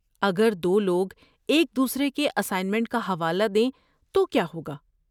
اگر دو لوگ ایک دوسرے کے اسائنمنٹ کا حوالہ دیں تو کیا ہوگا؟